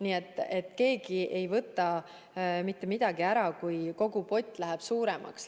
Nii et keegi ei võta mitte midagi ära, kui kogu pott läheb suuremaks.